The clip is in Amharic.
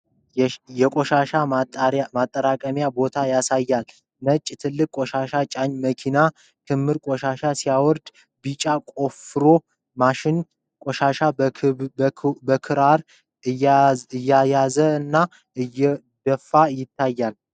የቆሻሻ ማጠራቀሚያ ቦታ ያሳያል። ነጭ ትልቅ ቆሻሻ ጫኝ መኪና ክምር ቆሻሻ ሲያወርድ፣ ቢጫ ቁፋሮ ማሽን ቆሻሻውን በክራር እየያዘውና እየደፋ ይታያል።